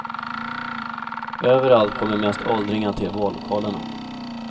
Överallt kommer mest åldringar till vallokalerna.